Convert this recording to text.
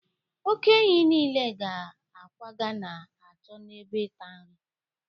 oke-ehi nile ga-akwaga na-achọ ebe ịta nri